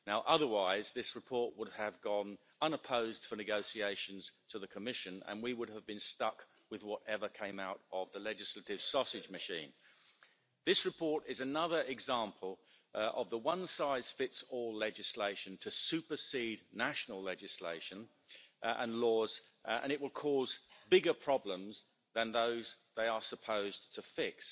Otherwise this report would have gone unopposed for negotiations to the Commission and we would have been stuck with whatever came out of the legislative sausage machine. This report is another example of the one-size-fits-all legislation to supersede national legislation and laws and it will cause bigger problems than those they are supposed to fix.